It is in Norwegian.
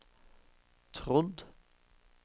trodd